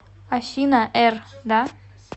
афина р да